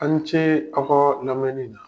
A ni ce aw ka lamɛnni na.